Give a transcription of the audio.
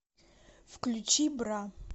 включи бра